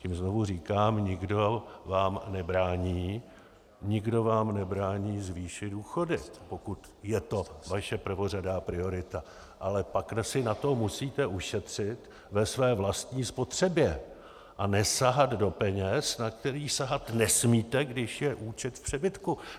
Tím znovu říkám, nikdo vám nebrání zvýšit důchody, pokud je to vaše prvořadá priorita, ale pak si na to musíte ušetřit ve své vlastní spotřebě a nesahat do peněz, na které sahat nesmíte, když je účet v přebytku.